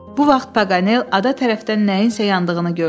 Bu vaxt Paqanel ada tərəfdən nəyinsə yandığını gördü.